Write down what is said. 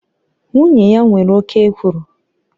Nwunye ya nwere oke ekworo